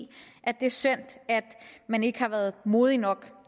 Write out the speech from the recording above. at det er synd at man ikke har været modig nok